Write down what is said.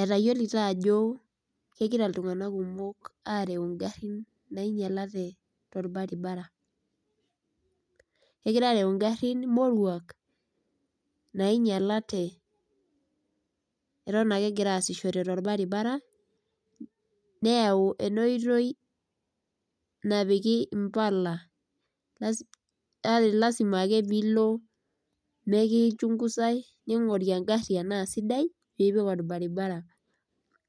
Etayiolito ajo kegira iltunganak kumok areu ingarin nainyialate , kegira areu ingarin moruak nainyialate , eton ake egira aasishore torbaribara , neyau enaoitoi napiki impala ,lasima ake pilo mekichunguzae ningori engari enaa kesidai piipik orbaribara ,